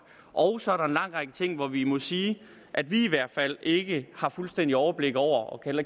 og så er der en lang række ting hvor vi må sige at vi i hvert fald ikke har fuldstændig overblik over og kan